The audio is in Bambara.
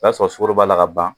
O y'a sɔrɔ sukaro b'a la ka ban